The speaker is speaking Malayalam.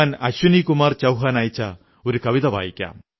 മൈം ത്യോഹാർ മനാതാ ഹൂം ഖുശ് ഹോതാ ഹൂം മുസ്കുരാതാ ഹൂം